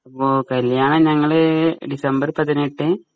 അപ്പൊ കല്യാണം ഞങ്ങള് ഡിസംബർ പതിനെട്ട്